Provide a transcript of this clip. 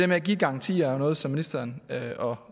med at give garantier er jo noget som ministeren og